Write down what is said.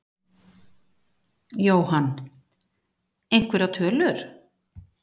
Jóhann: Einhverjar tölur?